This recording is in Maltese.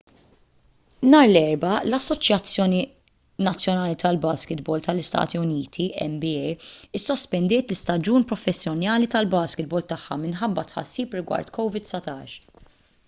nhar l-erbgħa l-assoċjazzjoni nazzjonali tal-baskitbol tal-istati uniti nba issospendiet l-istaġun professjonali tal-baskitbol tagħha minħabba tħassib rigward covid-19